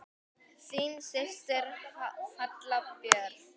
Þín systir, Halla Björk.